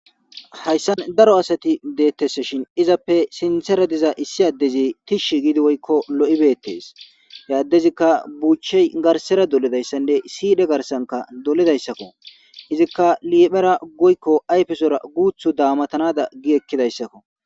Hayssan daro asati deettese shin izappe sintera diza issi addezi tishshi giidi woykko lo7ibeettes yaaddezikka buuchey garsera doledayssanne siide garsanka dolidayssakko izikka liphera goykko ayfesora guuthu daamatanada gi ekkidayssakko.